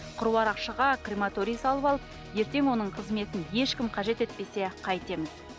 қыруар ақшаға крематорий салып алып ертең оның қызметін ешкім қажет етпесе қайтеміз